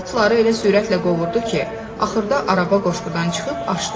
O, atları elə sürətlə qovurdu ki, axırda araba qoşqudan çıxıb açdı.